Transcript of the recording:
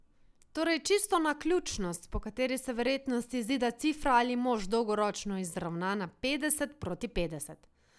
Torej čisto naključnost, po kateri se verjetnost izida cifra ali mož dolgoročno izravna na petdeset proti petdeset.